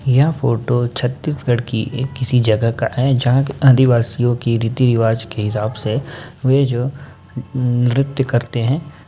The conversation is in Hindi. यह फोटो छत्तीसगढ़ की एक किसी जगह का है जहाँ आदिवासियों के रीति-रीवाज के हिसाब से वह जो नृ नृत्य करते हैं।